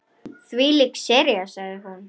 Þvílík sería sagði hún.